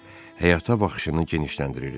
Həyata baxışını genişləndirirdi.